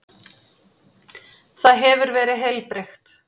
Það hefur verið heilbrigt?